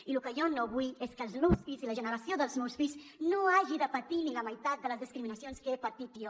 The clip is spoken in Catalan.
i lo que jo no vull és que els meus fills i la generació dels meus fills hagin de patir ni la meitat de les discriminacions que he patit jo